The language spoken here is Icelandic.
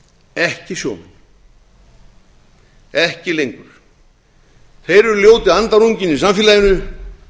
ekki sjómenn ekki lengur þeir eru ljóti andarunginn í samfélaginu